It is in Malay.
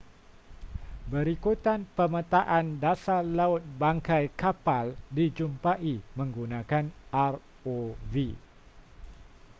berikutan pemetaan dasar laut bangkai kapal dijumpai menggunakan rov